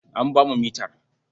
An ba mu mitar.